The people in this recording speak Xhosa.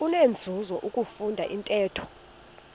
kunenzuzo ukufunda intetho